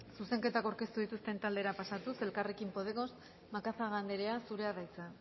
zuzenketak aurkeztu dituzten taldera pasatuz elkarrekin podemos macazaga andrea zurea da hitza